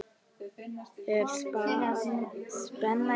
Er spenna í þessu?